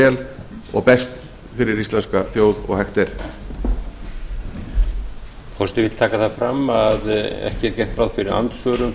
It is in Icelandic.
jafnvægis og tækifæra það verkefni er ekki einangrað við stjórnmálin heldur er það verkefni okkar allra að herða hugann og sækja fram góðar stundir